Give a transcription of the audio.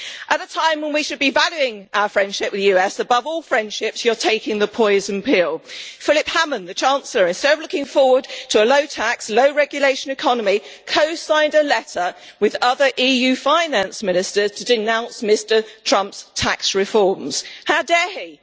At a time when we should be valuing our friendship with the US above all friendships, you are taking the poison pill. Philip Hammond, the Chancellor, instead of looking forward to a low tax, low regulation economy, co signed a letter with other EU Finance Ministers to denounce Mr Trump's tax reforms. How dare he?